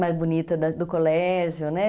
mais bonita do colégio, né?